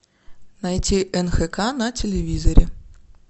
найти нхк на телевизоре